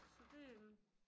Så det øh